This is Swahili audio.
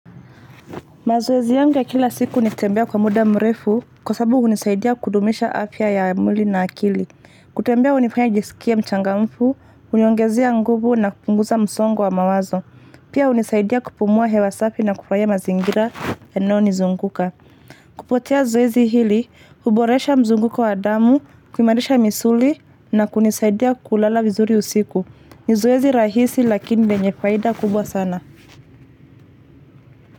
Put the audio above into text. Mazoezi yangu ya kila siku ni kutembea kwa muda mrefu kwa sababu hunisaidia kudumisha afya ya mwili na akili. Kutembea hunifanya nijisikie mchangamfu, huniongezea nguvu na kupunguza msongo wa mawazo. Pia hunisaidia kupumua hewa safi na kufurahia mazingira yanayonizunguka. Kupitia zoezi hili, huboresha mzunguko wa damu, kuimarisha misuli na kunisaidia kulala vizuri usiku. Ni zoezi rahisi lakini lenye faida kubwa sana.